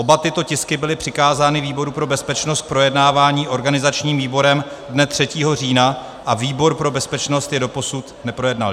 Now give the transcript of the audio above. Oba tyto tisky byly přikázány výboru pro bezpečnost k projednávání organizačním výborem dne 3. října a výbor pro bezpečnost je doposud neprojednal.